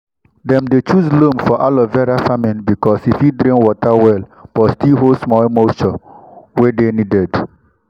dem dey choose loam for aloe vera farming because e fit drain water well but still hold small moisture wey dey needed